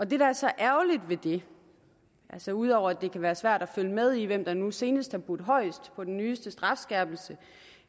det der er så ærgerligt ved det altså ud over at det kan være svært at følge med i hvem der nu senest har budt højest på den nyeste strafskærpelse